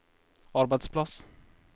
arbeidsplass